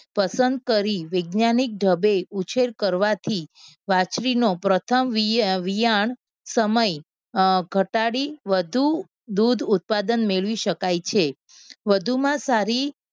પસંદ કરી વૈજ્ઞાનિક ઢબે ઉછેર કરવાથી વાછરી નો પ્રથમ વિયાણ સમય અમ ઘટાડી વધુ દૂધ ઉત્પાદન મેળવી શકાય છે. વધુમાં સારી